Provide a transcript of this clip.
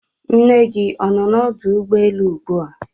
Nna gi ọnọ na ọdụ ụgbọelụ ụgbụa?